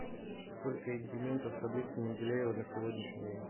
сколько элементов в таблице менделеева на сегодняшний день